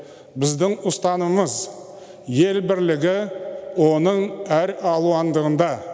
біздің ұстанымымыз ел бірлігі оның әр алуандығында